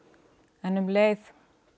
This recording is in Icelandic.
en um leið